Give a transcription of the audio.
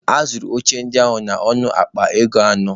A zụrụ oche ndị ahụ n'ọnụ akpa ego anọ